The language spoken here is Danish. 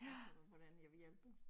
Og så hvordan jeg vil hjælpe